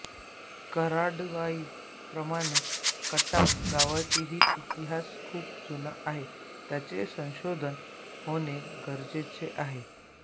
कराडवाई प्रमाणे खटाव गावचा हि इतिहास खूप जुना आहे त्याचे संशोधन होणे गरजेचे आहे